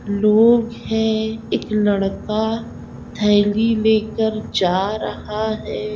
लोग है एक लड़का थैली लेकर जा रहा है।